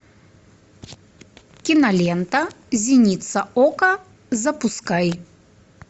кинолента зеница ока запускай